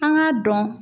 An k'a dɔn